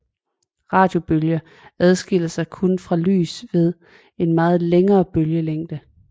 Radiobølger adskiller sig kun fra lys ved en meget længere bølgelængde